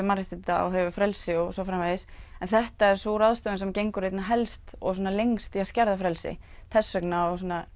mannréttinda og hefur frelsi og svo framvegis en þetta er sú ráðstöfun sem gengur einna helst og lengst í að skerða frelsi þess vegna